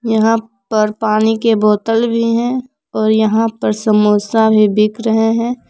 यहां पर पानी के बॉटल भी है और यहां पर समोसा भी बिक रहे है।